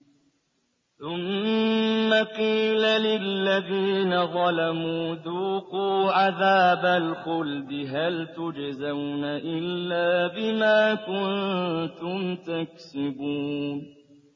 ثُمَّ قِيلَ لِلَّذِينَ ظَلَمُوا ذُوقُوا عَذَابَ الْخُلْدِ هَلْ تُجْزَوْنَ إِلَّا بِمَا كُنتُمْ تَكْسِبُونَ